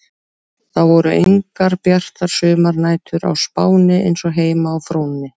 Það voru engar bjartar sumarnætur á Spáni eins og heima á Fróni.